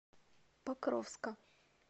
покровска